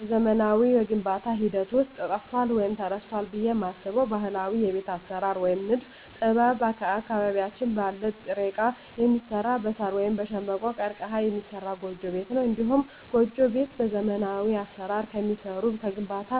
በዘመናዊው የግንባታ ሂደት ውስጥ ጠፍቷል ወይም ተረስቷል ብየ የማስበው ባህላዊ የቤት አሰራር ወይም የንድፍ ጥበብ አካባቢያችን ባለ ጥሬ እቃ የሚሰራ በሳር ወይም በሸንበቆ(ቀርቀሀ) የሚሰራ ጎጆ ቤት ነው። እንዲሁም ጎጆ ቤት በዘመናዊ አሰራር ከሚሰሩ ከግንባታ፣